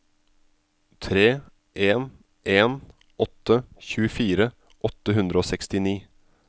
tre en en åtte tjuefire åtte hundre og sekstini